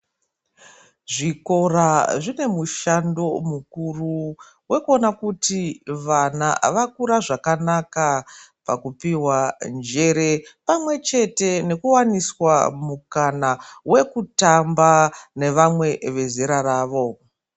Zvikora zvinemishando mukuru wekuona kuti vana vakura zvakanaka pakupiwa njere pamwe chete nekuwaniswa mukana wekutamba nevamwe vezera ravo.